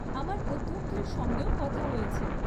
আমার অধ্যক্ষের সঙ্গেও কথা হয়েছে।